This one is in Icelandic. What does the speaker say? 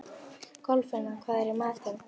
Kolfinna, hvað er í matinn?